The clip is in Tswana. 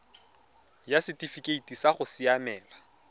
ya setifikeite sa go siamela